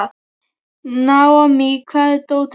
Naomí, hvar er dótið mitt?